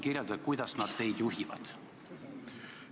Kirjeldage natuke, kuidas nad teid juhivad!